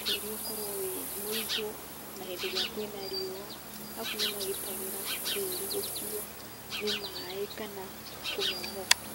tĩri ũkorwo wĩ mũigũ ona hĩndĩ ĩrĩa kũĩna riũa, arabu nĩmagitagĩra tĩri gũkũo nĩ maĩ kana kũmomoka.